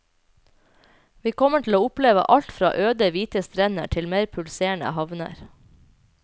Vi kommer til å oppleve alt fra øde hvite strender til mer pulserende havner.